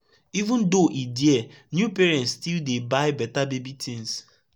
even though e dear new parents still dey buy beta baby tins